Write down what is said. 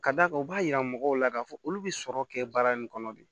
Ka d'a kan u b'a yira mɔgɔw la k'a fɔ olu bɛ sɔrɔ kɛ baara in kɔnɔ de